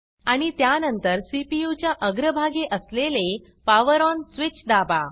आणि त्यानंतर सीपीयू च्या अग्र भागी असलेले पॉवर ONपावर ओन् स्विच दाबा